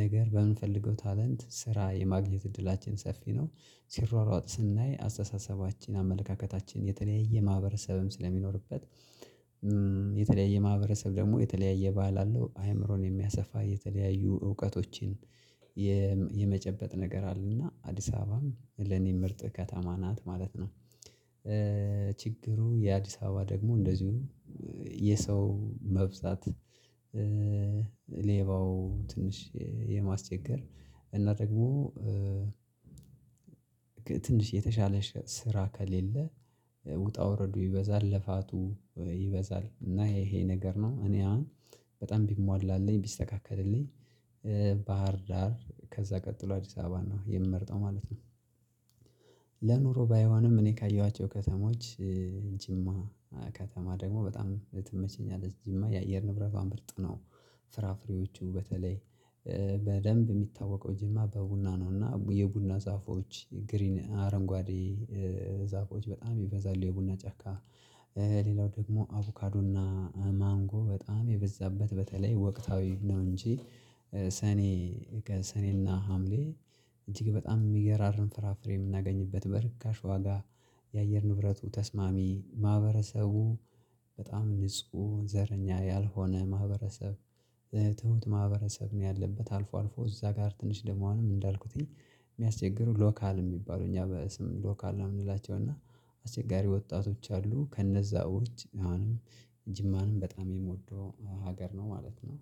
ነገር በምንፈልገው ታለንት ስራ የማግኘት እድላችን ሰፊ ነው። ሲሯሯጡ ስናይ አስተሳሰባችን አመለካከታችን የተለያየ ማህበረሰብም ስለሚኖርበት የተለያየ ማህበረሰብ ደግሞ የተለያየ ባህል አለው አእምሮን የሚያሰፋ የተለያዩ እውቀቶችን የመጨበጥ ነገር አለና አዲስ አበባም ለኔ ምርጥ ከተማ ናት ማለት ነው። ችግሩ የአዲስ አበባ ደግሞ እንደዚሁ የሰው መብዛት። ሌባው ትንሽ የማስቸገር እና ደግሞ ትንሽ የተሻለ ስራ ከሌለ። ውጣ ውረዱ ይበዛል ልፋቱ ይበዛል እና ይሄ ይሄ ነገር ነው እኔ አሁን በጣም ቢሟላልኝ ቢስተካከልልኝ። ባህር ዳር ከዛ ቀጥሎ አዲስ አበባ ነው የምመርጠው ማለት ነው። ለኑሮ ባይሆንም እኔ ካየኋቸው ከተሞች ጅማ ከተማ ደግሞ በጣም ትመቸኛለች ጅማ የአየር ንብረቷ ምርጥ ነው። ፍራፍሬዎቹ በተለይ በደንብ የሚታወቀው ጅማ በቡና ነው። እና የቡና ዛፎች ግሪን አረንጓዴ ዛፎዎች በጣም ይበዛሉ የቡና ጫካ። ሌላው ደግሞ አቮካዶና ማንጎ በጣም የበዛበት በተለይ ወቅታዊ ነው እንጂ። ሰኔ ከሰኔና ሀምሌ እጅግ በጣም የሚገራርም ፍራፍሬ የምናገኝበት በርካሽ ዋጋ። የአየር ንብረቱ ተስማሚ ማህበረሰቡ በጣም ንጹህ ዘረኛ ያልሆነ ማህበረሰብ። ትሁት ማህበረሰብ ነው ያለበት አልፎ አልፎ እዛ ጋር ትንሽ ደግሞ አሁንም እንዳልኩት። የሚያስቸግሩ ሎካል የሚባሉ እኛ በስም ሎካል ነው የምንላቸው እና አስቸጋሪ ወጣቶች አሉ። ከነዛ ውጭ አሁንም ጅማንም በጣም የምወደው ሀገር ነው ማለት ነው